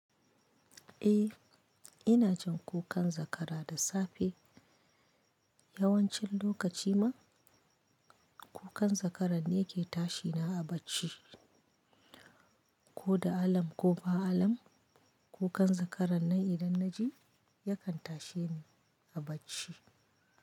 Eh, inajcin kukan zakara da safe yawancin lokaci ma kukan zakaran ne ke tashi na a bacci. Ko da alam ko ba alam kukan zakara nan idan na ji yakan tashe ni a bacci.